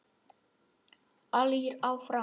Allir fram!